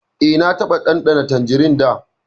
E, na taɓa ɗanɗana tanjirin da.